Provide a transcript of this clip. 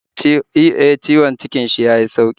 E, ciwon cikin shi ya yi sauki.